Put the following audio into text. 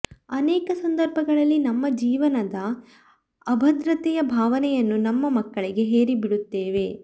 ಅನೇಕ ಸಂದರ್ಭಗಳಲ್ಲಿ ನಮ್ಮ ಜೀವನದ ಅಭದ್ರತೆಯ ಭಾವನೆಯನ್ನು ನಮ್ಮ ಮಕ್ಕಳಿಗೆ ಹೇರಿ ಬಿಡುತ್ತೇವೆ